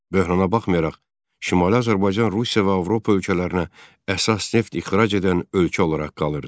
Böhrana baxmayaraq, Şimali Azərbaycan Rusiya və Avropa ölkələrinə əsas neft ixrac edən ölkə olaraq qalırdı.